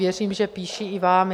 Věřím, že píší i vám.